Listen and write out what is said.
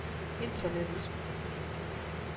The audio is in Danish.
internettet